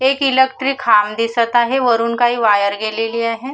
एक इलेक्ट्रिक खांब दिसत आहे वरून काही वायर गेलेली आहे.